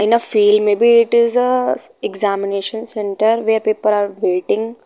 In a feel may be it is a examination centre where people are waiting.